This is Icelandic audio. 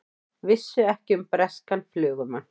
Vissu ekki um breskan flugumann